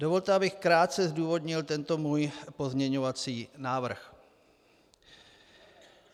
Dovolte, abych krátce zdůvodnil tento svůj pozměňovací návrh.